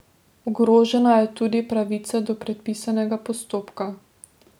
Ogrožena je tudi pravica do predpisanega postopka.